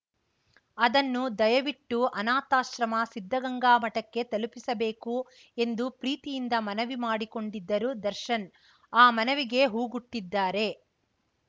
ಅದನ್ನು ದಯವಿಟ್ಟು ಅನಾಥಾಶ್ರಮ ಸಿದ್ಧಗಂಗಾ ಮಠಕ್ಕೆ ತಲುಪಿಸಬೇಕು ಎಂದು ಪ್ರೀತಿಯಿಂದ ಮನವಿ ಮಾಡಿಕೊಂಡಿದ್ದರು ದರ್ಶನ್‌ ಆ ಮನವಿಗೆ ಓಗೊಟ್ಟಿದ್ದಾರೆ